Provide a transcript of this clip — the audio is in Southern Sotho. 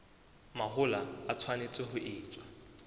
mahola e tshwanetse ho etswa